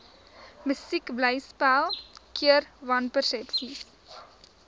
musiekblyspel keer wanpersepsies